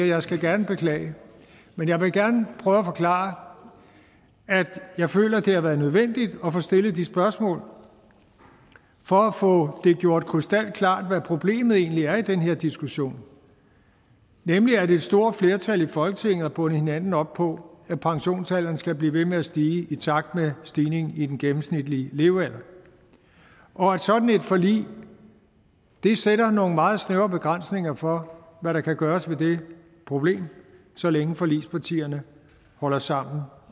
jeg skal gerne beklage men jeg vil gerne prøve at forklare at jeg føler det har været nødvendigt at få stillet de spørgsmål for at få det gjort krystalklart hvad problemet egentlig er i den her diskussion nemlig at et stort flertal i folketinget har bundet hinanden op på at pensionsalderen skal blive ved med at stige i takt med stigningen i den gennemsnitlige levealder og at sådan et forlig sætter nogle meget snævre begrænsninger for hvad der kan gøres ved det problem så længe forligspartierne holder sammen